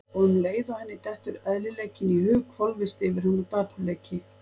Og um leið og henni dettur eðlileikinn í hug hvolfist yfir hana dapurleiki.